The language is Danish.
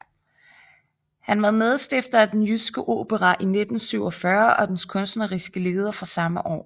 Han var medstifter af Den Jyske Opera i 1947 og dens kunstneriske leder fra samme år